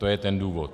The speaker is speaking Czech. To je ten důvod.